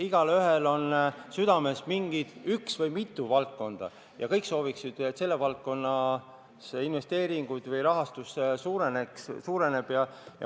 Igaühel on südamel üks valdkond või mitu valdkonda ja kõik sooviksid, et selle valdkonna investeeringud või rahastus suureneks.